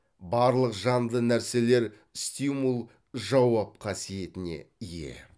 барлық жанды нәрселер стимул жауап қасиетіне ие